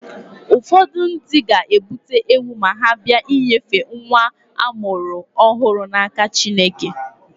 Ụfọdụ ndị ga-ebute ewu ma ha bịa inyefe nwa a mụrụ ọhụrụ n'aka Chineke.